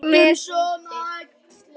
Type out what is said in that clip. Með punkti.